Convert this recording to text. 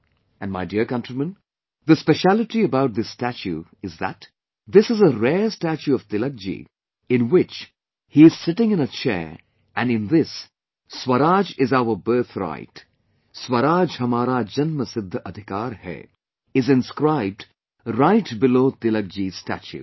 And my dear countrymen, the speciality about this statue is that this is a rare statue of Tilakji in which he is sitting in a chair and in this "Swaraj is our birthright" "Swaraj Hamara Janma Sidhha Adhikar Hai" is inscribed right below Tilakji's statue